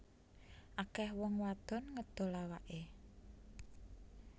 Akeh wong wadon ngedol awake